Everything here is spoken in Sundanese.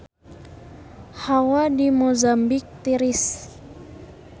Hawa di Mozambik tiris